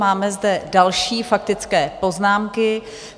Máme zde další faktické poznámky.